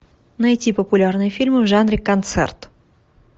найти популярные фильмы в жанре концерт